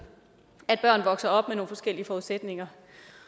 vokse op med nogle forskellige forudsætninger